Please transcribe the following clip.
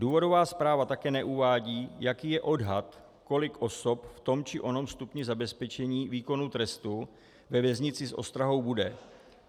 Důvodová zpráva také neuvádí, jaký je odhad, kolik osob v tom či onom stupni zabezpečení výkonu trestu ve věznici s ostrahou bude.